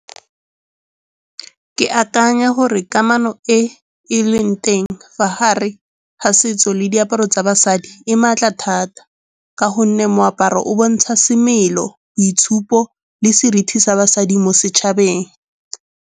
Ke akanya gore kamano e e leng teng fa gare ga setso le diaparo tsa basadi e maatla thata ka gonne moaparo o bontsha semelo, boitshupo le seriti sa basadi mo setšhabeng.